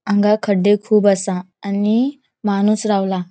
हांगा खड्डे खुब आसा आणि माणूस रावला.